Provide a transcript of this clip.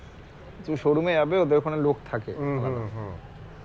তুমি showroom এ যাবে ওদের ওখানে লোক থাকে